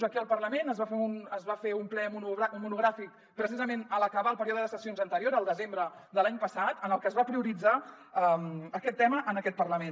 aquí al parlament es va fer un ple monogràfic precisament a l’acabar el període de sessions anterior el desembre de l’any passat en el que es va prioritzar aquest tema en aquest parlament